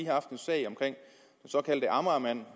haft en sag om den såkaldte amagermand